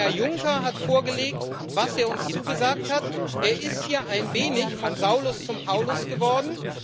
Herr Juncker hat vorgelegt, was er uns zugesagt hat er ist hier ein wenig vom Saulus zum Paulus geworden.